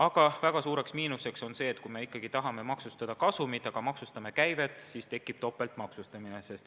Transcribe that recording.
Aga väga suur miinus on see, et me ikkagi tahame maksustada kasumit, aga kui me maksustame käivet, siis tekib topeltmaksustamine.